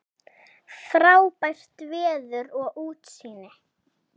Frábært veður og útsýni.